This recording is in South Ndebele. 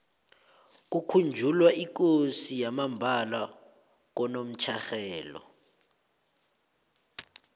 kukhunjulwa ikosi yamambala konomtjherhelo